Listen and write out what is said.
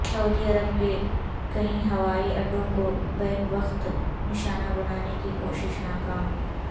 سعودی Arab کے کئی ہوائی اڈوں کو بیک وقت نشانہ بنانے کی کوشش ناکام